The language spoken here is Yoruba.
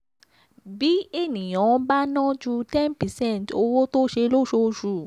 bí ènìyàn bá ná jù ten percent owó tó sẹ̀ lóṣooṣù